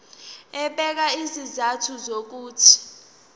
ebeka izizathu zokuthi